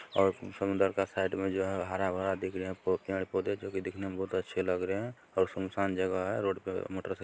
और समुन्दर का साइड मे जो है हर-भरा दिख रहे हैं किनारे पौधे जो कि दिखने में बहुत अच्छे लग रहे हैं और सुनसान जगह है रोड पे मोटरसाइ --